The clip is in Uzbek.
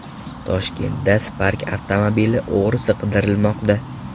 Toshkentda Spark avtomobili o‘g‘risi qidirilmoqda .